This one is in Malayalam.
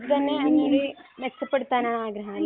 ഇത് തന്നെ ഒന്ന് കൂടി മെച്ചപ്പെടുത്താൻ ആണ് ആഗ്രഹം അല്ലെ?